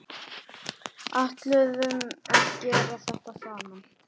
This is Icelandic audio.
Ætluðum að gera þetta saman